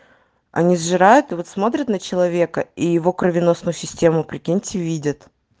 они сжирает вот смотрят на человека и его кровеносную систему прикиньте видят